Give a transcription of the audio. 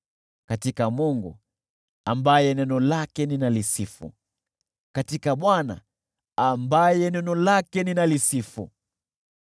Katika Mungu, ambaye neno lake ninalisifu, katika Bwana , ambaye neno lake ninalisifu,